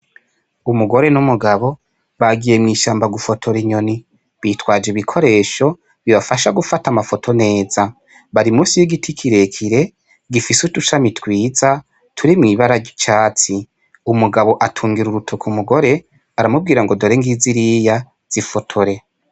Umugore n'umugabo bagiye mw'ishamba gufotora inyoni bitwaje ibikoresho bifasha gufata amafoto neza, bari musi y'igiti kirere gifise udushami twiza turimwo ibara ry'icatsi, umugabo atungira urutoke umugore aramubwira ngo: "dore ngiziriya zifotore.".